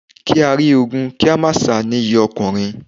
Kí á rí ogun kí a má sá ni iyì ọkùnrin.